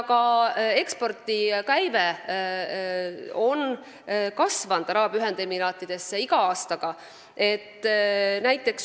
Ka ekspordikäive Araabia Ühendemiraatidesse on iga aastaga kasvanud.